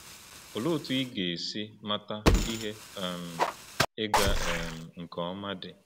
Olee otú ị ga-esi mata ihe um ịga um nke ọma di?